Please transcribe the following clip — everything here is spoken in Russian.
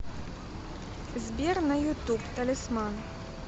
сбер на ютуб талисман